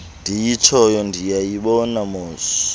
ndiyitshoyo niyayibona mosi